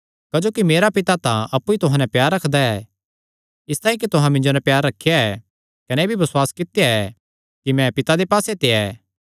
क्जोकि मेरा पिता तां अप्पु ई तुहां नैं प्यार रखदा ऐ इसतांई कि तुहां मिन्जो नैं प्यार रखेया ऐ कने एह़ भी बसुआस कित्या ऐ कि मैं पिता दे पास्से ते आया